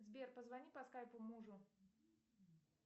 сбер позвони по скайпу мужу